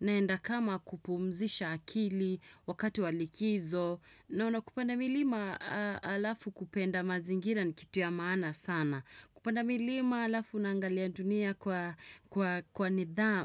naenda kama kupumzisha akili wakati walikizo na unapenda milima alafu kupenda mazingira ni kitu ya maana sana. Kupanda milima alafu nangalia dunia